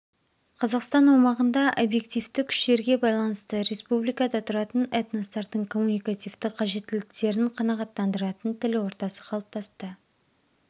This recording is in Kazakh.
қазақстан аумағында объективті күштерге байланысты республикада тұратын этностардың коммуникативті қажеттіліктерін қанағаттандыратын тіл ортасы қалыптасты